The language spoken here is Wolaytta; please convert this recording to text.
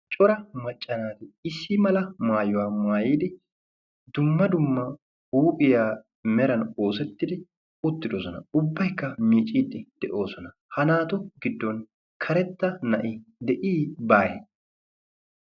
Cora macca naati issi mala masyuwa maayidi dumma dumma huuphiya meran oosettidi uttidosona. Ubbaykka micciiddi de"oosona. Ha naatu giddon karetta na"i de"ii baawwee?